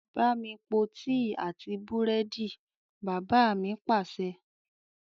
Bámi po tíì àti búrẹ́dì! Bàbá mi Pàṣẹ.